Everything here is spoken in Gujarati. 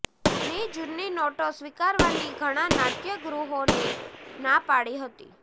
ની જૂની નોટો સ્વીકારવાની ઘણાં નાટયગૃહોએ ના પાડી હતી